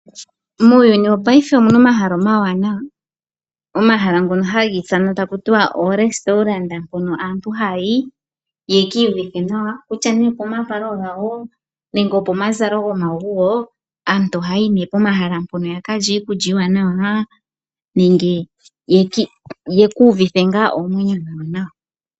Muuyuni woopaife omuna omahala omawaanawa, omahala ngono haga ithanwa takutiwa oo Restourant mpono aantu haayi yekii yuvithe nawa, kutya nee opomavalo gawo nenge opo mazalo gomaguwo , aantu ohaayi nee pomahala mpono yakalye iikulya iiwanawa nenge yekuuvithe ngaa oomwenyo dhawo nawa.